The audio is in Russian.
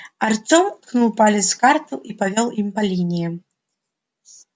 артем ткнул палец в карту и повёл им по линиям